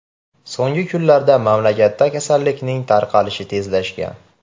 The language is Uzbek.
So‘nggi kunlarda mamlakatda kasallikning tarqalishi tezlashgan.